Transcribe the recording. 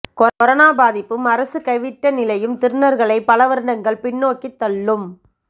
corona பாதிப்பும் அரசு கைவிட்ட நிலையும் திருநர்களைப் பலவருடங்கள் பின்னோக்கித் தள்ளும்